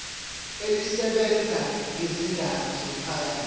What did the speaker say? elisebenza ngezindaba zomphakathi